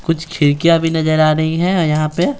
कुछ खिड़कियाँ भी नजर आ रही हैं यहाँ पे--